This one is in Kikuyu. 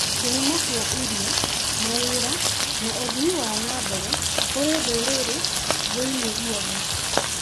kĩhumo kĩa irio, mawĩra, na ũthii wa na mbere kũrĩ ndũrĩrĩ thĩ-inĩ guothe.